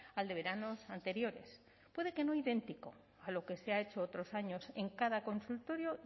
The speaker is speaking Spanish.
al de veranos anteriores puede que no idéntico a lo que se ha hecho otros años en cada consultorio